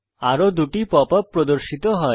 আরো 2 টি pop up প্রদর্শিত হয়